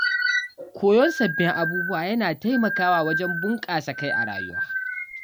Koyon sabbin abubuwa yana taimakawa wajen bunƙasa kai a rayuwa.